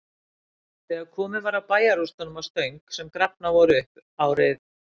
Þegar komið var að bæjarrústunum að Stöng, sem grafnar voru upp árið